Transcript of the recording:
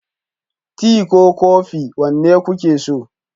Tea ko kofi, wanda kuke so?